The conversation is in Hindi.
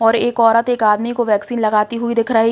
यह एक औरत एक आदमी को वैक्सीन लगते हुए दिख रही --